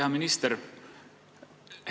Hea minister!